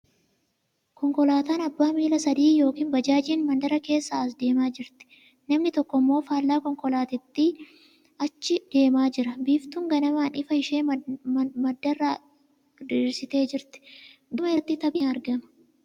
Konkolaataan abbaan miila sadii yookin baajaajiin mandara keessa as deemaa jirti. Namni tokko immoo faallaa konkolaataatti achi deemaa jira. Biiftuun ganamaan ifa ishee mandara irraa diriirsitee jirti. Gama irratti tabbi ni argama.